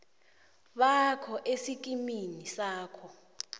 bakho esikimini sakho